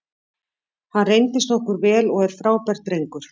Hann reyndist okkur vel og er frábær drengur.